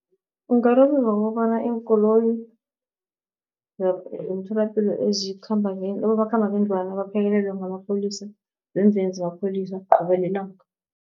Ungararululwa ngokobana iinkoloyi zemtholapilo, abomakhambangendlwana baphekelelwe ngamapholisa ngemveni zamapholisa qobe lilanga.